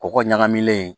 Kɔgɔ ɲagamilen